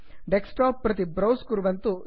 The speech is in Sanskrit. डेस्कटॉप प्रति ब्रौस् कुर्वन्तु